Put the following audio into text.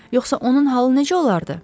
Yoxsa onun halı necə olardı?